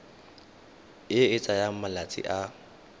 e e tsayang malatsi a